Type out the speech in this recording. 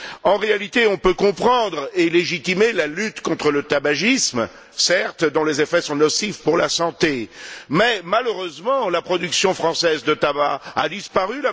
En réalité, on peut comprendre et légitimer la lutte contre le tabagisme, certes, dont les effets sont nocifs pour la santé, mais, malheureusement, la production française de tabac a disparu.